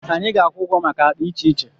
Anyị ga-akwụ ụgwọ maka akpa iche iche.